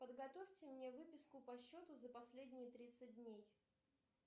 подготовьте мне выписку по счету за последние тридцать дней